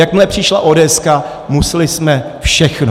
Jakmile přišla ódéeska, museli jsme všechno.